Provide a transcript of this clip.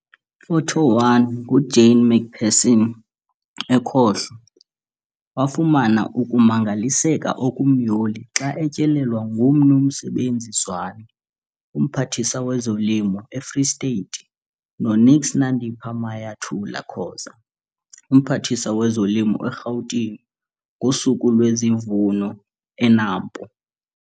Photo 1- NguJane McPherson, ekhohlo, wafumana ukumangaliseka okumyoli xa etyelelwa ngoMnu Msebenzi Zwane, uMphathiswa wezoLimo eFree State noNks Nandi Mayathula-Khoza, uMphathiswa wezolimo eGauteng ngoSuku lwesiVuno eNAMPO.